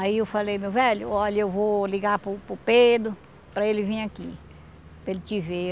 Aí eu falei, meu velho, olha, eu vou ligar para o para o Pedro para ele vir aqui, para ele te ver.